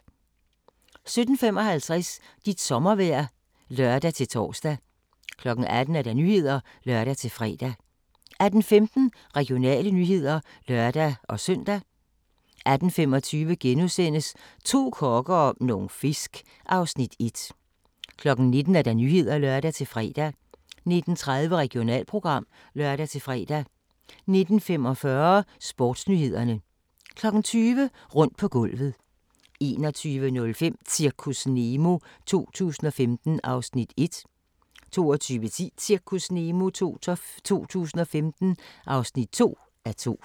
17:55: Dit sommervejr (lør-tor) 18:00: Nyhederne (lør-fre) 18:15: Regionale nyheder (lør-søn) 18:25: To kokke og nogle fisk (Afs. 1)* 19:00: Nyhederne (lør-fre) 19:30: Regionalprogram (lør-fre) 19:45: Sportsnyhederne 20:00: Rundt på gulvet 21:05: Zirkus Nemo 2015 (1:2) 22:10: Zirkus Nemo 2015 (2:2)